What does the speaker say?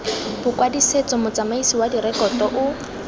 bokwadisetso motsamaisi wa direkoto o